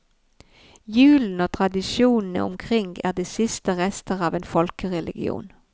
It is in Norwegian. Julen og tradisjonene omkring er de siste rester av en folkereligion.